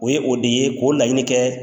O ye o de ye k'o laɲini kɛ